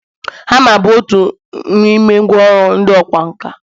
hama bụ otu n’ime ngwa ọru ndị ọkwá nkà